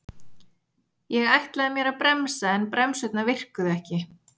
Ég ætlaði mér að bremsa en bremsurnar virkuðu ekki